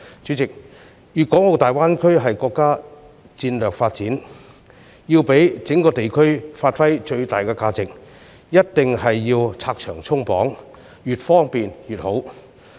主席，粵港澳大灣區是國家戰略發展，要讓整個地區發揮最大價值，便一定要拆牆鬆綁，越方便越好。